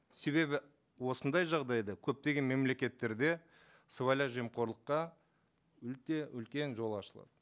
себебі осындай жағдайда көптеген мемлекеттерде сыбайлас жемқорлыққа өте үлкен жол ашылады